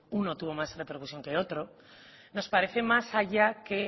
uno tuvo más repercusión que otro nos parece más allá que